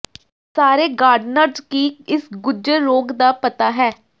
ਸਾਰੇ ਗਾਰਡਨਰਜ਼ ਕੀ ਇਸ ਗੁੱਝੇ ਰੋਗ ਦਾ ਪਤਾ ਹੈ